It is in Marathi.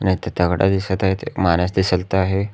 इथ दगड दिसत आहेत एक माणूस दिसत आहे.